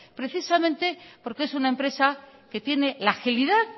precisamente porque es una empresa que tiene la agilidad